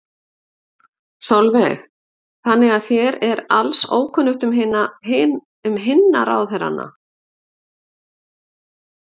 Sólveig: Þannig að þér er alls ókunnugt um hinna ráðherranna?